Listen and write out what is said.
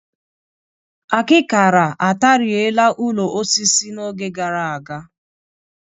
Akịkara ataarịe la ụlọ osisi n'oge gara aga